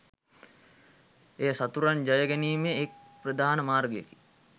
එය සතුරන් ජය ගැනීමේ එක් ප්‍රධාන මාර්ගයකි.